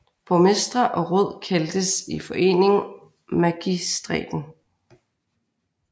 Borgmestre og råd kaldtes i forening magistraten